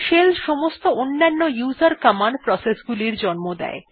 shell সমস্ত অন্যান্য উসের কমান্ড প্রসেস গুলি জন্ম দেয়